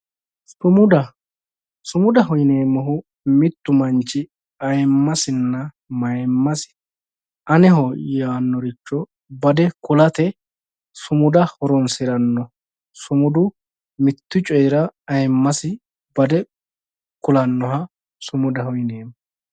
Sumudaho yineemmohu mittu manchi manchi ayiimmasinna mayiimmasi ayiimmasi aneho yaannoricho bade kulate sumuda horoonsiranno sumudu mittu coyiira ayiimmasi bade kulannoha sumudaho yineemmo